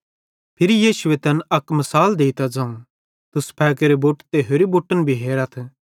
फिरी यीशुए तैन अक मिसाल देइतां ज़ोवं तुस फ़ेगेरे बुट ते होरि बुट्टन भी हेरतथ